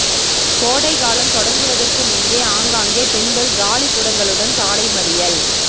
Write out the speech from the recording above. கோடை காலம் தொடங்குவதற்கு முன்பே ஆங்காங்கே பெண்கள் காலிக்குடங்களுடன் சாலை மறியல்